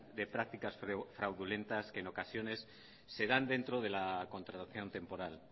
de prácticas fraudulentas que en ocasiones se dan dentro de la contratación temporal